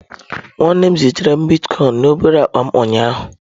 Nwanne m zitere bitkọin na obere akpa m ụnyaahụ.